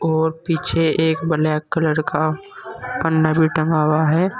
और पीछे एक ब्लैक कलर का भी टंगा हुआ है।